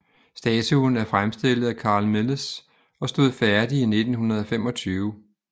Statuen er fremstillet af Carl Milles og stod færdig i 1925